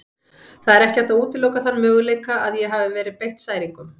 Það er ekki hægt að útiloka þann möguleika að ég hafi verið beitt særingum.